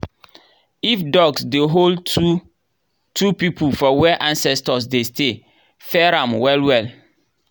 if dogs dey howl two-two people for where ancestors dey stay fear am well well.